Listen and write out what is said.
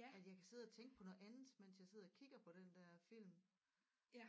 At jeg kan sidde og tænke på noget andet mens jeg sidder og kigger på den der film øh